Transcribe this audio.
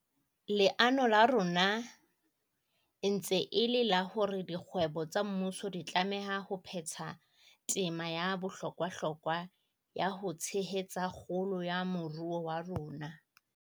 Leano la rona e ntse e le la hore dikgwebo tsa mmuso di tlameha ho phetha tema ya bohlokwahlokwa ya ho tshehetsa kgolo ya moruo wa rona.